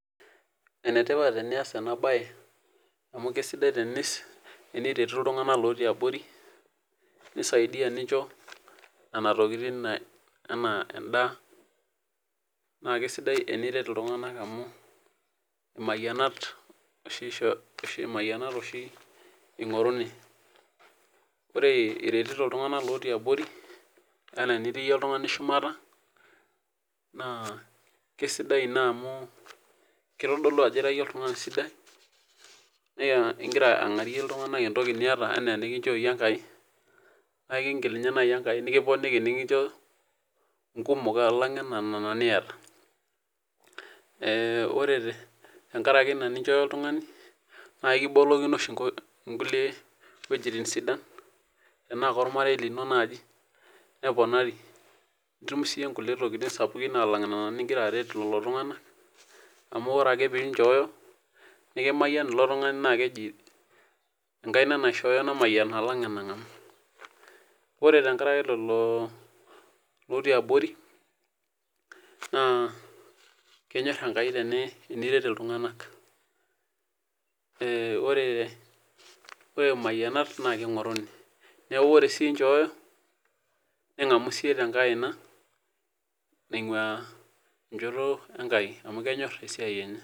Enetipat enias enabae amu kesidai teniretu ltunganak otii abori nisaidia nincho nona tokitin naijo endaa na kesidai eniret ltunganak amu mayianat oshi ingoruni, ore iretito ltunganak otii abori ana enitii yie shumata na kesidai ina amu kitadolu ajo ira oltungani sidai na ingira angarie ltunganak entoki niata ana enikincho enkai na ekingil nai enkai nikiponiki nikincho nkumok alang nona niata ore tenkaraki ina ninchooyo oltungani na ekibolokino oshi nkulie weujitin sidan ana kaormarei linonneponari nitum nkukie tokitin sapukin alang nona ningira aret lolo tunganak na keji enkaina naishoyo namayiana alang enangamu ore tenkaraki lolo otii abori na kenyor enkai tenimayian iltunganak neaku ore mayianat kingoruni ore si inchooyo ningamu siyie tendaina ingua enkaina enkai amu kenyor esiai enye.